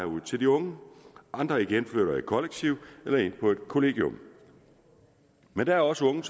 ud til de unge andre igen flytter i kollektiv eller ind på et kollegium men der er også unge